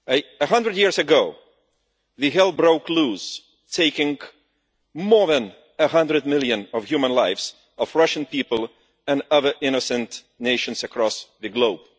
A hundred years ago, all hell broke loose, taking more than 100 million human lives among the Russian people and other innocent nations across the globe.